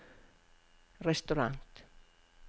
restaurant